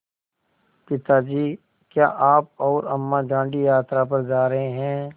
पिता जी क्या आप और अम्मा दाँडी यात्रा पर जा रहे हैं